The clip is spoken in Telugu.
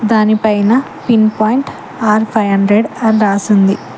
దానిపైన pin point R five hundred అని రాసి ఉంది.